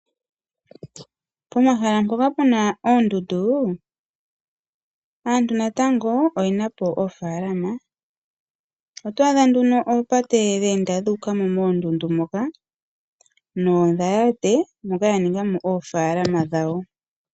Pomahala mpoka pena oondundu aantu natango